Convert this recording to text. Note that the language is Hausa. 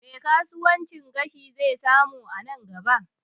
Me kasuwancin gashi zai samu a nan gaba?